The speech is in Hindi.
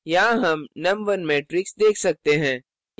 यहाँ हम num1 matrix देख सकते हैं